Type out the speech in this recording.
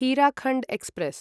Hirakhand express